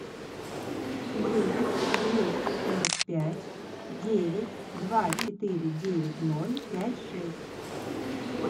девять двести сорок пять девять два четыре девять ноль пять шесть